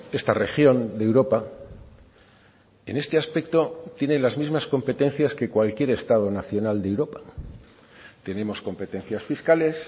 esta región de europa en este aspecto tiene las mismas competencias que cualquier estado nacional de europa tenemos competencias fiscales